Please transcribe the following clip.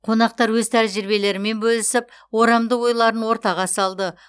қонақтар өз тәжірибелерімен бөлісіп орамды ойларын ортаға салды